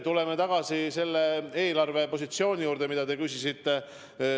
Tulen aga tagasi eelarvepositsiooni juurde, mille kohta te küsisite.